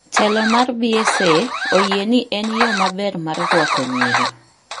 Telo mar BSA oyie ni en yo maber mar rwako nyiri